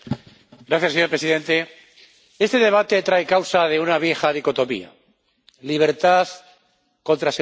Señor presidente, este debate trae causa de una vieja dicotomía libertad contra seguridad.